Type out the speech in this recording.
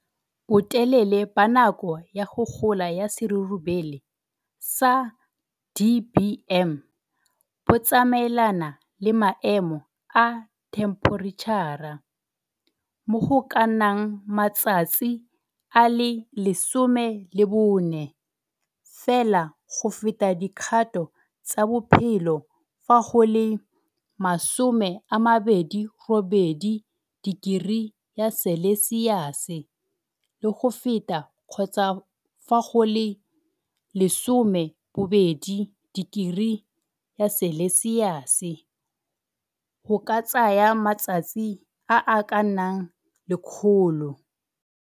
Botelele ba nako ya go gola ya serurubele, sa DBM, bo tsamaelana le maemo a themphoritšhara, mo go ka nnang matsatsi a le 14 fela go fetsa dikgato tsa bophelo fa go le 28 degree ya selesiase le go feta kgotsa fa go le 12 degree ya selesiase go ka tsaya matsatsi a a ka nnang 100.